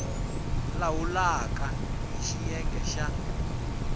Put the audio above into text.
lawula rk hl xiyenge xa